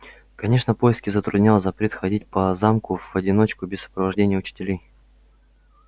конечно поиски затруднял запрет ходить по замку в одиночку без сопровождения учителей